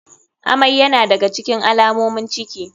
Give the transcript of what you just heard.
Amai yana da ga cikin alamomin ciki.